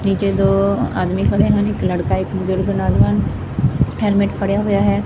ਪਿੱਛੇ ਦੋ ਆਦਮੀ ਖੜੇ ਹਨ ਇਕ ਲੜਕਾ ਹੈਲਮੇਟ ਫੜਿਆ ਹੋਇਆ ਹੈ।